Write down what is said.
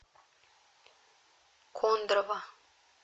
кондрово